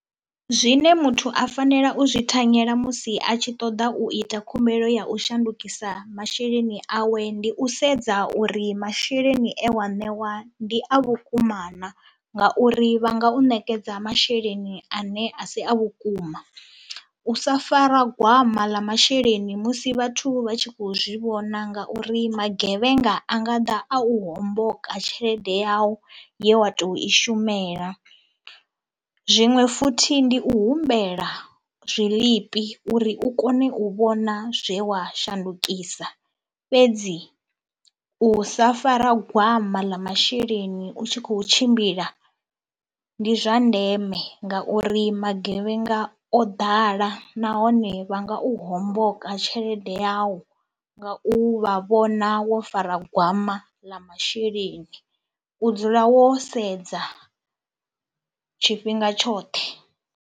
Zwine muthu a fanela u zwi thanyela musi a tshi ṱoḓa u ita khumbelo ya u shandukisa masheleni awe ndi u sedza uri masheleni e wa ṋewa ndi a vhukuma na, ngauri vha nga u ṋekedza masheleni ane a si a vhukuma. U sa fara gwama ḽa masheleni musi vhathu vha tshi khou zwi vhona ngauri magevhenga a nga ḓa a u homboka tshelede yau ye wa tou i shumela. Zwiṅwe futhi ndi u humbela zwiḽipi uri u kone u vhona zwe wa shandukisa, fhedzi u sa fara gwama ḽa masheleni u tshi khou tshimbila ndi zwa ndeme ngauri magevhenga o ḓala nahone vha nga u homboka tshelede yau nga u vha vhona wo fara gwama ḽa masheleni. U dzula wo sedza tshifhinga tshoṱhe.